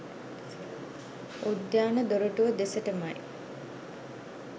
උද්‍යාන දොරටුව දෙසටමයි